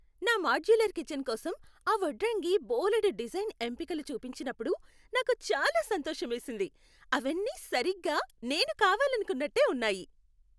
నా modular kitchen కోసం ఆ వడ్రంగి బోలెడు డిజైన్ ఎంపికలు చూపించినప్పుడు నాకు చాలా సంతోషమేసింది. అవన్నీ సరిగ్గా నేను కావాలనుకున్నట్టే ఉన్నాయి!